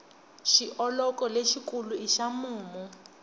xioloko lexi kulu i xa mumu